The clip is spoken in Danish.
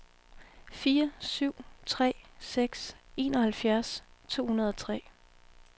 fire syv tre seks enoghalvfjerds to hundrede og tre